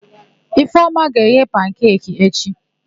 Ifeọma ga-eghe pankeki echi.